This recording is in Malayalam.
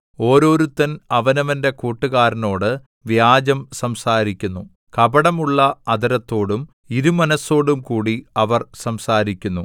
ഓരോരുത്തൻ അവനവന്റെ കൂട്ടുകാരനോട് വ്യാജം സംസാരിക്കുന്നു കപടമുള്ള അധരത്തോടും ഇരുമനസ്സോടും കൂടി അവർ സംസാരിക്കുന്നു